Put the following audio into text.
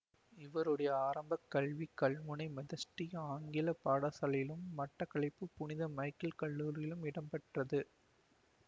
இவருடைய ஆரம்ப கல்வி கல்முனை மெதடிஸ்த ஆங்கில பாடசாலையிலும் மட்டக்களப்பு புனித மைக்கல் கல்லூரியிலும் இடம்பெற்றது